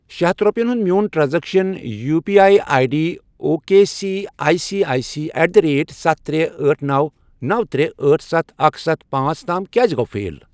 شے ہتھَ رۄپِیَن ہُنٛد میون transaction U P I I D O K C I C I at the rate ستھ، ترے، أٹھ، نوَ، نوَ، ترے، أٹھ، ستھَ اکھَ، ستھَ، پانژھ، تام کیٛازِ گوٚو فیل؟